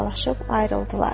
Vidalaşıb ayrıldılar.